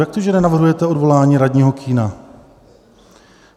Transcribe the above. Jak to, že nenavrhujete odvolání radního Kühna?